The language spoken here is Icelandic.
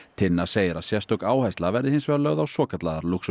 Tinna segir að sérstök áhersla verði hins vegar lögð á svokallaðar